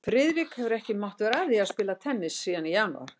Friðrik hefur ekki mátt vera að því að spila tennis síðan í janúar